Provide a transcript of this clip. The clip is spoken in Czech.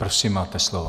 Prosím, máte slovo.